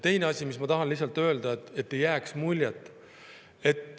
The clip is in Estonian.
Teiseks, ma tahan, et lihtsalt ei jääks muljet.